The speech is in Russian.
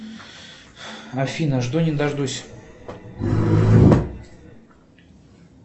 афина жду не дождусь